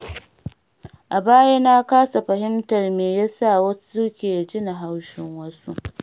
A baya na kasa fahimtar me yasa wasu ke jin haushin wasu.